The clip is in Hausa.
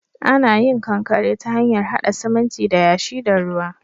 Ana yin kankare ta hanyar haɗa siminti da yashi da ruwa.